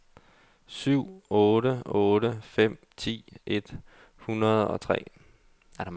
syv otte otte fem ti et hundrede og tre